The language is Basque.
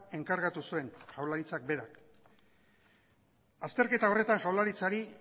enkargatu zuen jaurlaritzak berak azterketa horretan jaurlaritzari